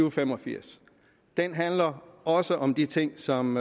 og fem og firs den handler også om de ting som